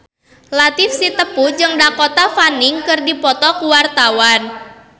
Latief Sitepu jeung Dakota Fanning keur dipoto ku wartawan